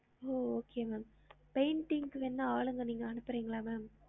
ஓ okay ma'am painting க்கு வேனா ஆளுங்க நீங்க அனுபுரிங்களா ma'am